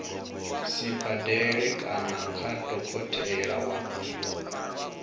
sibadela kana kha dokotela wa